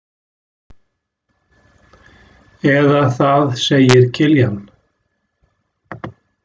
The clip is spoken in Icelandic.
Eða það segir Kiljan.